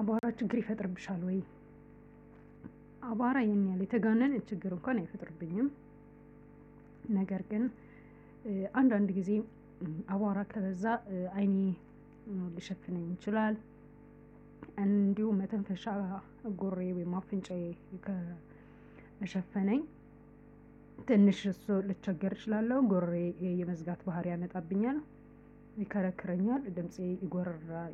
አቧራ ችግር ይፈጥርብሻል ወይ? አባራ ይሄን ያህል የተጋነነ ችግር እንኳን አይፈጥርብኝም። ነገር ግን አንዳንድ ጊዜ አቧራ ከበዛ አይኔን ሊሸፍነኝ ይችላል። እንዲሁ መተንፈሻ ጎሮሮዬን አፍንጫዬን ከሸፈነኝ። ትንሽ እሱ ልቸገር እችላለሁ ጎሮሮዬን የመዝጋት ባህሪ ያመጣብኛል። ይከረክረኛል ድምፄ